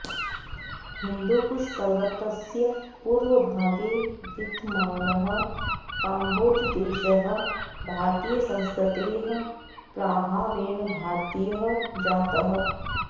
हिन्दुकुशपर्वतस्य पूर्वभागे विद्यमानः काम्भोजदेशः भारतीयसंस्कृतेः प्राभावेण भारतीयः जातः